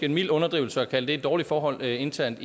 en mild underdrivelse at kalde det et dårligt forhold internt